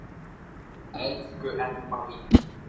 Elsku Emma mín.